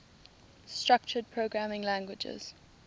structured programming languages